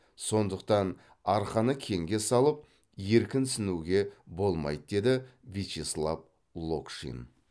сондықтан арқаны кеңге салып еркінсуге болмайды деді вячеслав локшин